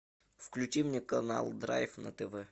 включи мне канал драйв на тв